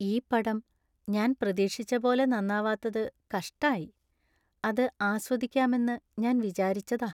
ഈ പടം ഞാന്‍ പ്രതീക്ഷിച്ചപോലെ നന്നാവാത്തത് കഷ്ടായി. അത് ആസ്വദിക്കാമെന്ന് ഞാൻ വിചാരിച്ചതാ.